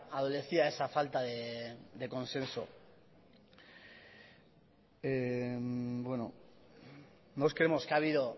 adolecía esa falta de consenso no nos creemos